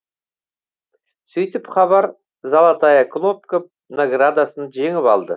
сөйтіп хабар золотая кнопка наградасын жеңіп алды